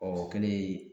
Ɔ o kɛlen